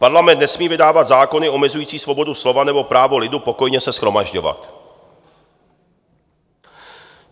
Parlament nesmí vydávat zákony omezující svobodu slova nebo právo lidu pokojně se shromažďovat."